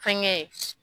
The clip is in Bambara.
Fɛnkɛ